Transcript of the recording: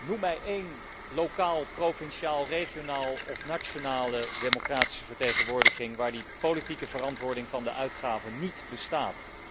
Noem mij één lokale, provinciale, regionale of nationale democratische vertegenwoordiging waar die politieke verantwoording van de uitgaven niet bestaat.